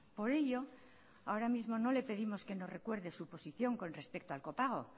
por ello ahora mismo no le pedimos que nos recuerde su posición con respecto al copago